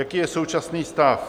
Jaký je současný stav?